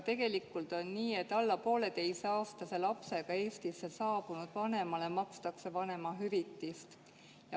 Tegelikult on nii, et alla poolteiseaastase lapsega Eestisse saabunud vanemale makstakse vanemahüvitist.